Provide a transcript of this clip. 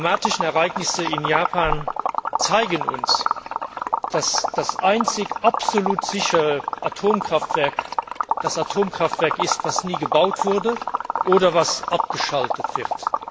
Die dramatischen Ereignisse in Japan zeigen uns, dass das einzige absolut sichere Atomkraftwerk das Atomkraftwerk ist, das nie gebaut wurde oder das abgeschaltet wird.